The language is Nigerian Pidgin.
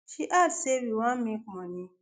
she add say "we wan make money?